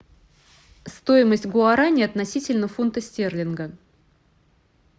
стоимость гуарани относительно фунта стерлинга